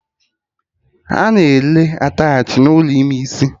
A na-ere attachị n'ụlọ ime isi